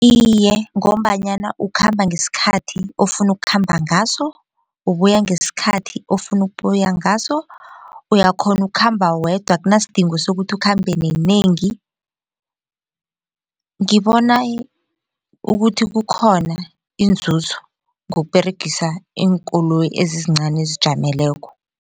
Iye, ngombanyana ukhamba ngesikhathi ofuna ukukhamba ngaso ubuya ngesikhathi ofuna ukuya ngaso, uyakghona ukhamba wedwa akunasidingo sokuthi ukhambe nenengi ngibona ukuthi kukhona inzuzo ngokuberegisa iinkoloyi ezizincani ezizijameleko.